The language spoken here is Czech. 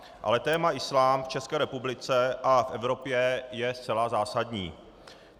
Ale téma islám v České republice a v Evropě je zcela zásadní.